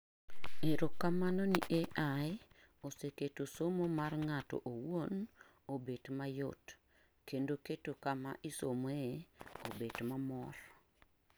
Erokamano ni AI, oseketo somo mar ng'ato owuon obet mayot kendo keto kama isomee obet mamor